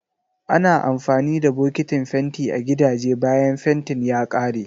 Ana amfani da bokitin fenti a gidaje bayan fentin ya kare.